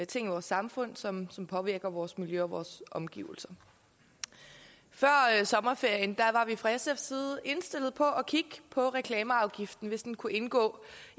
ting i vores samfund som påvirker vores miljø og vores omgivelser før sommerferien var vi fra sfs side indstillet på at kigge på reklameafgiften hvis den kunne indgå